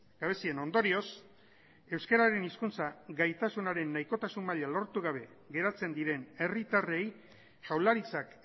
gabezien ondorioz euskararen hizkuntza gaitasunaren nahikotasun maila lortu gabe geratzen diren herritarrei jaurlaritzak